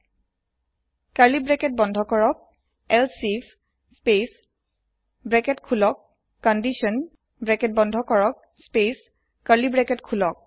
close curly bracket space elif space open bracket condition close bracket space open curly bracket